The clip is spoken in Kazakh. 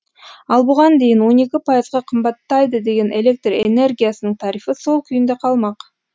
ал бұған дейін он екі пайызға қымбаттайды деген электр энергиясының тарифі сол күйінде қалмақ